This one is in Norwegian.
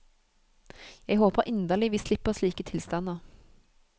Jeg håper inderlig vi slipper slike tilstander.